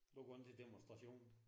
Du går ikke til demonstrationer?